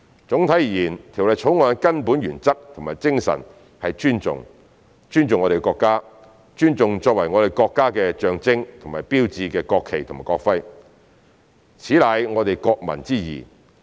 總體而言，《條例草案》的根本原則及精神是"尊重"，尊重我們的國家，尊重作為我們國家的象徵和標誌的國旗及國徽，此乃我們國民之義。